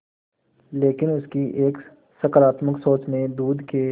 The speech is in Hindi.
लेकिन उनकी एक सकरात्मक सोच ने दूध के